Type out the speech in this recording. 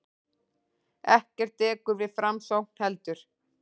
Ekkert dekur við framsókn heldur.